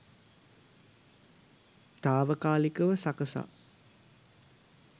තාවකාලිකව සකසා